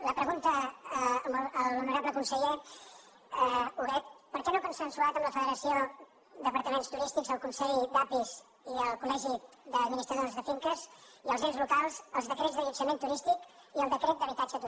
la pregunta a l’honorable conseller huguet per què no ha consensuat amb la federació d’apartaments turístics el consell d’api i el col·legi d’administradors de finques i els ens locals els decrets d’allotjament turístic i el decret d’habitatge turístic